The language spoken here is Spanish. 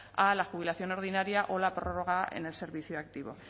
a la jubilación ordinaria o la prórroga en el servicio activo